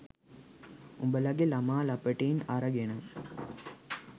උඹලගේ ළමා ලපටින් අරගෙන